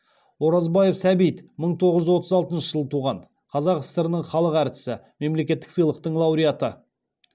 оразбаев сәбит мың тоғыз жүз отыз алтыншы жылы туған қазақ сср інің халық әртісі мемлекеттік сыйлықтың лауреаты